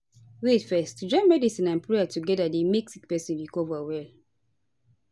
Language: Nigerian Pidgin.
wait fezz to join medicine and prayer together dey make sick pesin recover well